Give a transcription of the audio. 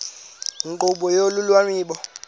nkqubo yolu lwabiwo